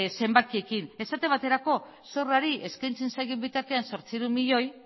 zenbakiekin esate baterako zorrari eskaintzen zaion bitartean zortziehun milioi